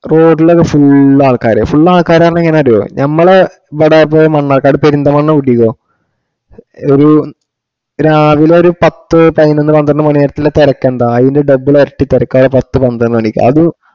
road ലൊക്കെ full ആള്ക്കാര് ആവുമ്പൊ എങ്ങാനാറിയോ ഞമ്മളെ ഇബടെ മണ്ണാർക്കാട് പെരിന്തൽമണ്ണ കൂട്ടിക്കോ ഒരു രാവില ഒരു പത്തു പയിനോന്നു പന്ത്രണ്ട് മണിവരെയുള്ള തെരക്ക് എന്താ ആയിന്ടെ double എരട്ടി തെരക്കാ പത്തു പത്രണ്ട് മണിക്ക് അതു